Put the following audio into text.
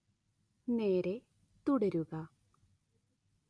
നേരേ തുടരുക